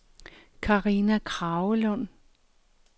Karina Kragelund